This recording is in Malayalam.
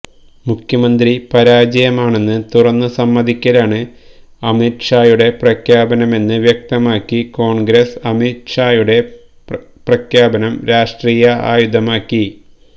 മുഖ്യമന്ത്രി പരാജയമാണെന്ന് തുറന്ന് സമ്മതിക്കലാണ് അമിത് ഷായുടെ പ്രഖ്യാപനമെന്ന് വ്യക്തമാക്കി കോണ്ഗ്രസ് അമിത് ഷായുടെ പ്രഖ്യാപനം രാഷ്ട്രീയ ആയുധമാക്കി